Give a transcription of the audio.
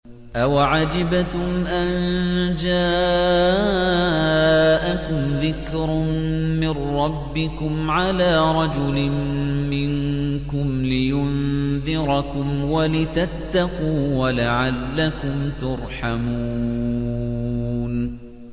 أَوَعَجِبْتُمْ أَن جَاءَكُمْ ذِكْرٌ مِّن رَّبِّكُمْ عَلَىٰ رَجُلٍ مِّنكُمْ لِيُنذِرَكُمْ وَلِتَتَّقُوا وَلَعَلَّكُمْ تُرْحَمُونَ